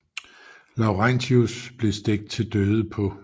Laurentius blev stegt til døde på